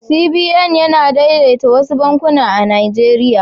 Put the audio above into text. CBN yana daidaita wasu bankuna a Najeriya.